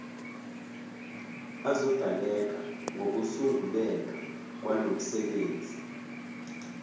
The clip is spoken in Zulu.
azodaleka ngokusunguleka kwalomsebenzi